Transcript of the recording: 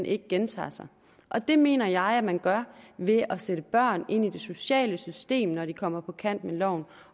ikke gentager sig og det mener jeg at man gør ved at sende børn ind i det sociale system når de er kommet på kant med loven